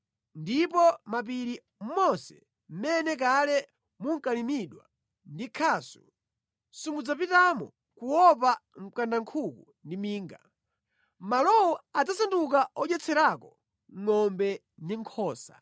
Ndipo mʼmapiri monse mʼmene kale munkalimidwa ndi khasu, simudzapitamo kuopa mkandankhuku ndi minga; malowo adzasanduka odyetserako ngʼombe ndi nkhosa.